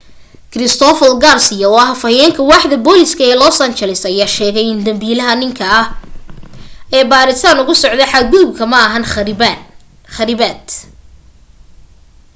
christopher garcia oo ah afayeenka waaxda booliska ee los angeles ayaa sheegay in dambiilaha ninka ah ayaa baaritaan ugu socoto ku xad gudub ma ahan kharibaad